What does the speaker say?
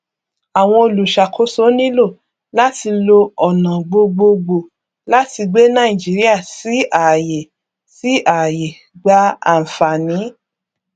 àwọn olùṣàkóso nílò láti lo ọnà gbogboògbò láti gbé nàìjíríà sí àyè sí àyè gba ànfààní